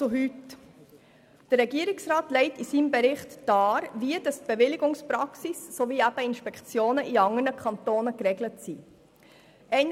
Der Regierungsrat legt in seinem Bericht dar, wie die Bewilligungspraxis sowie eben Inspektionen in anderen Kantonen geregelt sind.